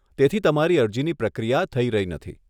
તેથી તમારી અરજીની પ્રક્રિયા થઈ રહી નથી.